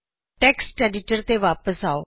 text editor ਤੇ ਵਾਪਿਸ ਆਓ